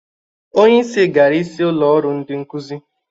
Onyeisi gara isi ụlọ ọrụ ndị nkụzị.